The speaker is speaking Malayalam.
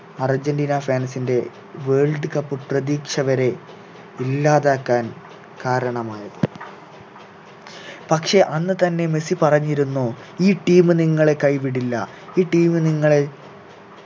അർജന്റീന fans ൻ്റെ world cup പ്രതീക്ഷവരെ ഇല്ലാതാക്കാൻ കാരണമായത് പക്ഷെ അന്ന് തന്നെ മെസ്സി പറഞ്ഞിരുന്നു ഈ team നിങ്ങളെ കൈവിടില്ല ഈ team നിങ്ങളെ